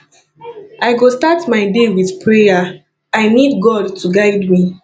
i go start my day with prayer i need god to guide me